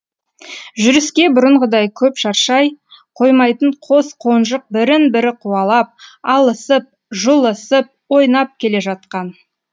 жүріске бұрынғыдай көп шаршай қоймайтын қос қонжық бірін бірі қуалап алысып жұлысып ойнап келе жатқан